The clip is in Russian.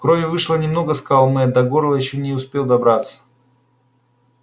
крови вышло немного сказал мэтт до горла ещё не успел добраться